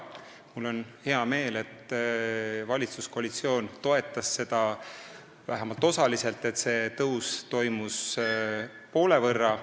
Mul on hea meel, et valitsuskoalitsioon toetas seda vähemalt osaliselt ja tõus vähenes poole võrra.